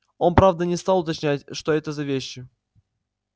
он правда не стал уточнять что это за вещи